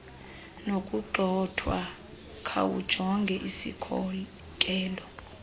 nokugxothwa khawujonge isikhokelo